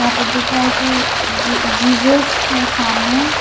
यहां पे दिख रहा है कि जी जीसस है सामने।